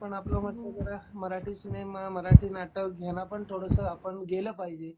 पण आपण म्हणल जरा मराठी सिनेमा, मराठी नाटक ह्यांना पण थोडस गेल पाहिजे.